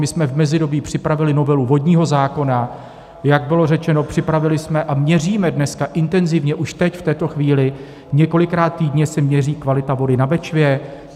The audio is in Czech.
My jsme v mezidobí připravili novelu vodního zákona, jak bylo řečeno, připravili jsme a měříme dneska intenzivně, už teď, v této chvíli, několikrát týdně se měří kvalita vody na Bečvě.